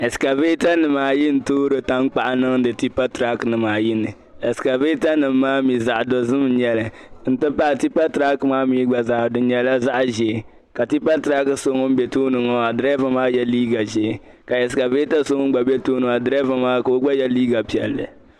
Esekabreata ayi. n toori tan kpaɣu. niŋdi. tipa turok nim. ayi. ni esekabreata. nim maani mi. zaɣ' dozim nyɛli ni ti pahi. tipaturok. gba di nyela zaɣzɛɛ. ka tipa turok so ŋun bɛ tooni maa. draba maa. yela. liiga. zɛɛ. ka esekabreata. sɔ ŋun. gba. bɛ. tooni. draba maa. ka ɔ. gba. ye. liiga. piɛli